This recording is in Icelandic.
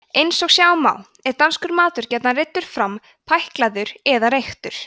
eins og sjá má er danskur matur gjarnan reiddur fram pæklaður eða reyktur